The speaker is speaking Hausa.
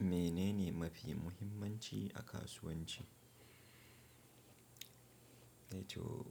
Menene mafi muhimmanci a kasuwanci? Ai to